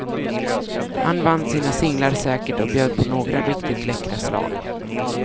Han vann sina singlar säkert och bjöd på några riktigt läckra slag.